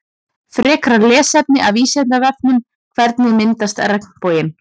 Frekara lesefni af Vísindavefnum Hvernig myndast regnboginn?